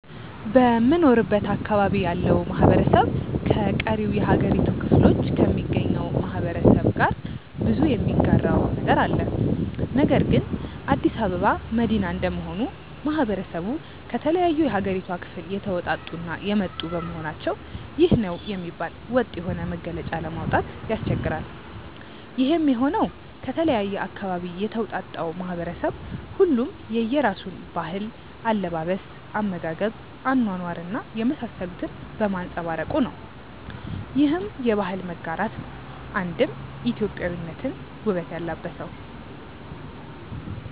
በምኖርበት አካባቢ ያለው ማህበረሰብ ከቀሪው የሀገሪቱ ክፍሎ ከሚገኘው ማህበረሰብ ጋር ብዙ የሚጋራው ነገር አለ። ነገር ግን አዲስ አበባ መዲና እንደመሆኑ ማህበረሰቡ ከተለያዩ የሀገሪቷ ክፍል የተወጣጡ እና የመጡ በመሆናቸው ይህ ነው የሚባል ወጥ የሆነ መገለጫ ለማውጣት ያስቸግራል። ይሄም የሆነው ከተለያየ አካባቢ የተውጣጣው ማህበረሰብ ሁሉም የየራሱን ባህል፣ አለባበስ፣ አመጋገብ፣ አኗኗር እና የመሳሰሉትን በማንፀባረቁ ነው። ይህም የባህል መጋራት ነው አንድም ኢትዮጵያዊነትን ውበት ያላበሰው።